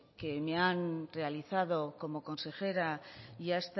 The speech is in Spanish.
que me han realizado como consejera y a